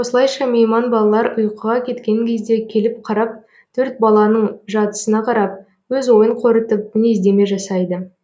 осылайша мейман балалар ұйқыға кеткен кезде келіп қарап төрт баланың жатысына қарап өз ойын қорытып мінездеме жасайды